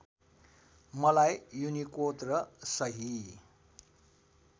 मलाई युनिकोड र सही